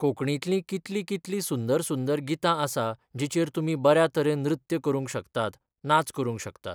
कोंकणींतलीं कितलीं कितलीं सुंदर सुंदर गितां आसा जिचेर तुमी बऱ्या तरेन नृत्य करूंक शकतात, नाच करूंक शकतात.